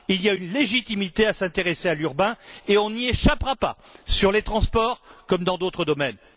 Il y a une légitimité à s'intéresser à l'urbain et on n'y échappera pas, sur les transports comme dans d'autres domaines.